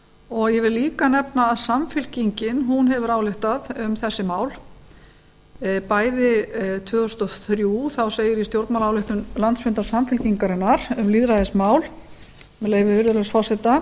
og ég vil líka nefna að samfylkingin hefur ályktað um þessi mál bæði tvö þúsund og þrjú þá segir í stjórnmálaályktun landsfundar samfylkingarinnar um lýðræðismál með leyfi virðulegs forseta